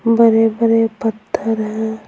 बड़े-बड़े पत्थर है।